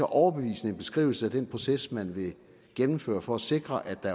overbevisende beskrivelse af den proces man vil gennemføre for at sikre at der